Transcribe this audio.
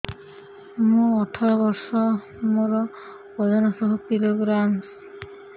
ମୁଁ ଅଠର ବର୍ଷ ମୋର ଓଜନ ଶହ କିଲୋଗ୍ରାମସ